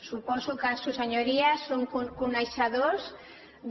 suposo que sus señorías són coneixedors de